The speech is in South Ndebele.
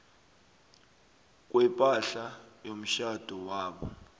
kwepahla yomtjhado wabo